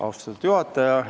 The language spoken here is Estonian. Austatud juhataja!